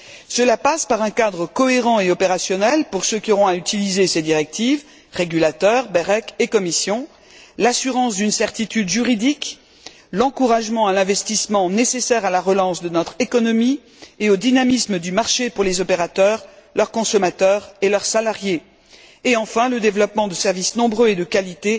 Cela passe par un cadre cohérent et opérationnel pour ceux qui auront à utiliser ces directives régulateurs, BEREC et Commission l'assurance d'une certitude juridique, l'encouragement à l'investissement nécessaire à la relance de notre économie et au dynamisme du marché pour les opérateurs, leurs consommateurs et leurs salariés, et enfin, le développement de services nombreux et de qualité,